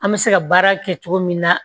An bɛ se ka baara kɛ cogo min na